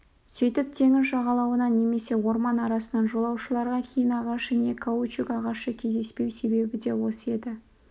сөйтіп теңіз жағалауынан немесе орман арасынан жолаушыларға хин ағашы не каучук ағашы кездеспеу себебі де осы еді